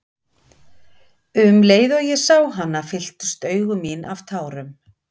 Um leið og ég sá hana fylltust augu mín af tárum.